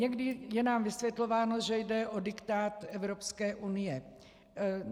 Někdy je nám vysvětlováno, že jde o diktát Evropské unie.